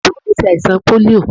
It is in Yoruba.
Àbúrò mi ṣẹ àìsàn pólíò.